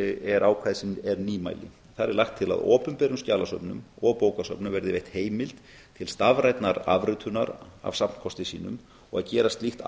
er ákvæði sem er nýmæli þar er lagt til að opinberum skjalasöfnum og bókasöfnum verði veitt heimild til stafrænnar afritunar af safnkosti slíkum og að gera slíkt